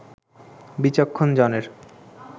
বিচক্ষণ জনের